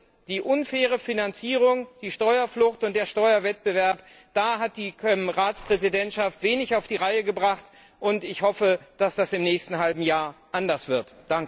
Hinsichtlich der unfairen Finanzierung, der Steuerflucht und des Steuerwettbewerbs hat die Ratspräsidentschaft wenig auf die Reihe gebracht, und ich hoffe, dass das im nächsten halben Jahr anders wird.